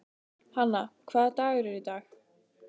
Hanna, hvaða dagur er í dag?